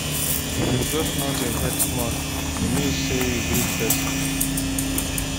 If you just nod your head small, e mean sey you greet pesin.